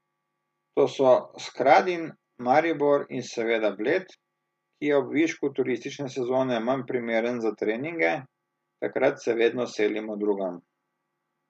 To so Skradin, Maribor in seveda Bled, ki je ob višku turistične sezone manj primeren za treninge, takrat se vedno selimo drugam.